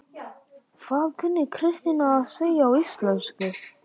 Hvað kunni Kristín að segja á íslensku?